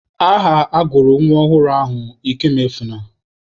Aha agụrụ nwa ọhụrụ ahụ Ikemuefuna.